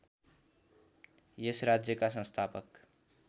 यस राज्यका संस्थापक